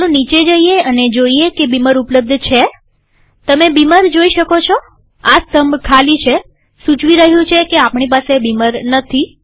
ચાલો નીચે જઈએ અને જોઈએ કે બીમર ઉપલબ્ધ છેતમે બીમર જોઈ શકો છો આ સ્તંભ ખાલી છે સૂચવી રહ્યું છે કે આપણી પાસે બીમર નથી